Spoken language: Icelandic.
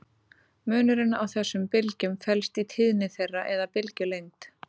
Munurinn á þessum bylgjum felst í tíðni þeirra eða bylgjulengd.